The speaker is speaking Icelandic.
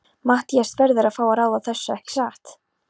Matthías verður að fá að ráða þessu, ekki satt?